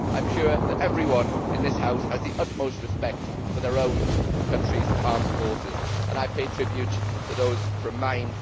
I am sure that everyone in this House has the utmost respect for their own countryʼs armed forces and I pay tribute to those from mine.